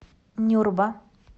нюрба